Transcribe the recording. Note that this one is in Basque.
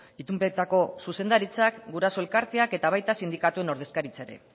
itunpetako zuzendaritzak guraso elkarteak eta baita sindikatuen ordezkaritza ere